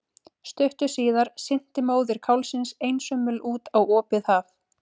Stuttu síðar synti móðir kálfsins einsömul út á opið haf.